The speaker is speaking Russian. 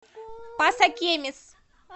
пасакемис